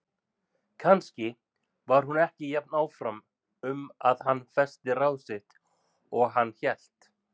Kannski var hún ekki jafn áfram um að hann festi ráð sitt og hann hélt.